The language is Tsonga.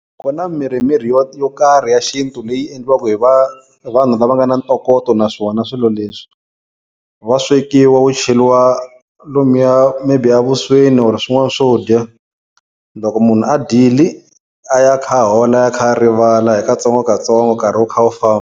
Ku na mirhimirhi yo yo karhi ya xintu leyi endliwaka hi hi vanhu lava nga na ntokoto na swona swilo leswi wa swekiwa wu cheriwa lomuya maybe a vusweni or swin'wana swo dya loko munhu a dyile a ya a kha a hola a kha a rivala hi katsongokatsongo nkarhi wu kha wu famba.